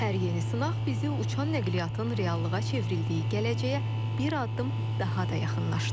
Hər yeni sınaq bizi uçan nəqliyyatın reallığa çevrildiyi gələcəyə bir addım daha da yaxınlaşdırır.